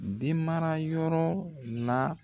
Den mara yɔrɔ la.